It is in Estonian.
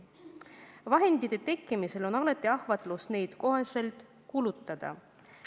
Raha tekkimisel on alati ahvatlus see kohe ära kulutada.